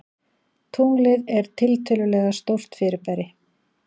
Tunglið er tiltölulega stórt fyrirbæri.